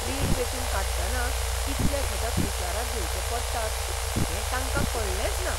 रीण वेंचून काडटना इतले घटक विचारांत घेवचे पडटात हें तांकां कळ्ळेंच ना!